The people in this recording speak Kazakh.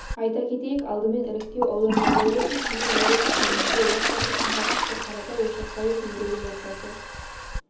айта кетейік алдымен іріктеу аудандарда өтіп кейін облыстық деңгейде отбасы сынға түсті қаратай ошақбаев мерейлі отбасы